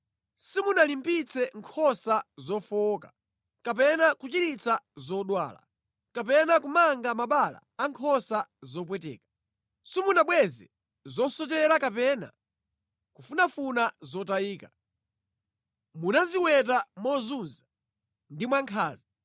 Simunalimbitse nkhosa zofowoka, kapena kuchiritsa zodwala, kapena kumanga mabala a nkhosa zopweteka. Simunabweze zosochera kapena kufunafuna zotayika. Munaziweta mozunza ndi mwankhanza.